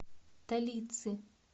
талицы